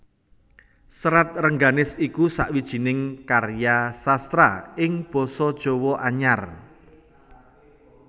Serat Rengganis iku sawijining karya sastra ing basa Jawa Anyar